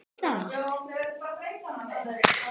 Aldrei hafði svo ógurlegur maður sést í þessum bæ.